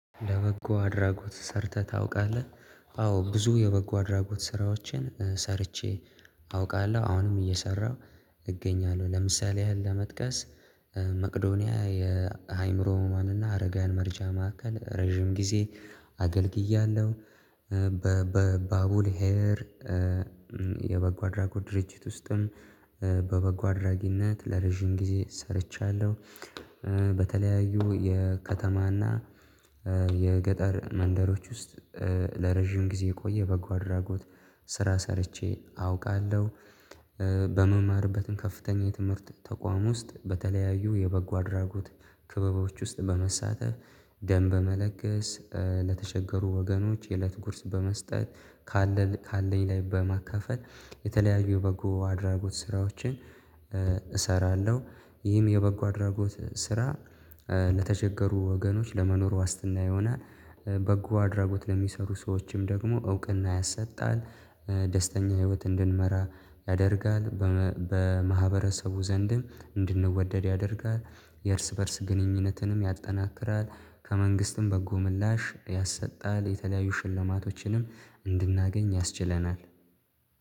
ለበጎ አድራጎት ሰርተህ ታውቃለህ? አዎ ብዙ የበጎ አድራጎት ስራዎችን ሰርቼ አውቃለሁ አሁንም እየሰራሁ እገኛለሁ ለምሳሌ ያህል ለመጥቀስ። መቅዶኒያ የሃይምሮ ህሙማን እና አረጋውያን መረጃ ማዕከል ረጅም ጊዜ አገልግያለሁ። በባቡል ሄር የበጎ አድራጎት ድርጅት ውስጥም በበጎ አድራጊነት ለረጅም ጊዜ ሰርቻለሁ። በተለያዩ የከተማና የገጠር መንደሮች ውስጥ ለረጅም ጊዜ የቆየ በጎ አድራጎት ስራ ሰርቼ አውቃለሁ። በመማርበትም ከፍተኛ የትምህርት ተቋም ውስጥ በተለያዩ የበጎ አድራጎት ክበቦች ውስጥ በመሳተፍ ደም በመለገስ ለተቸገሩ ወገኖች የእለት ጉርስ በመስጠት ካለኝ ላይ በማካፈል የተለያዩ በጎ አድራጎት ስራዎችን እሰራለሁ። ይህም የበጎ አድራጎት ስራ ለተቸገሩ ወገኖች ለመኖር ዋስትና የሆነ በጎ አድራጎት ለሚሰሩ ሰዎችም ደግሞ እውቅና ያሰጣል። ደስተኛ ህይወት እንድንመራ ያደርጋል በማህበረሰቡ ዘንድም እንድንወደድ ያደርጋል። የእርስ በእርስ ግንኙነትንም ያጠናክራል። ከመንግስትም በጎ ምላሽ ያሰጣል የተለያዩ ሽልማቶችንም እንድናገኝ ያስችለናል።